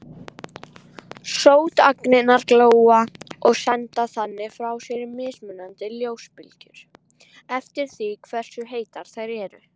Sótagnirnar glóa og senda þannig frá sér mismunandi ljósbylgjur eftir því hversu heitar þær eru.